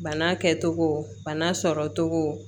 Bana kɛcogo bana sɔrɔcogo